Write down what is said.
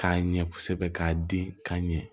K'a ɲɛ kosɛbɛ k'a di ka ɲɛ